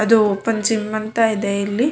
ಅದು open gym ಅಂತ ಇದೆ ಇಲ್ಲಿ.